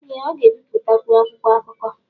ee ọ ga-ebipụtakwu akwụkwọ akụkọ